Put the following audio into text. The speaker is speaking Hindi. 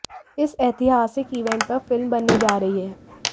इस एतिहासिक ईवेंट पर फिल्म बनने जा रही है